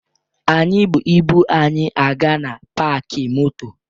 Anyị bu ibu anyị aga na paakị moto